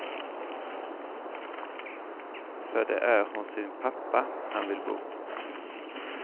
För det är hos sin pappa han vill bo.